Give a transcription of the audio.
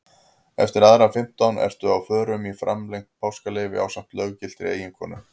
Eftir aðra fimmtán ertu á förum í framlengt páskaleyfi ásamt löggiltri eiginkonu.